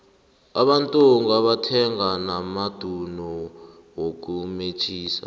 abantungu bathenga namadulu wokumetjhisa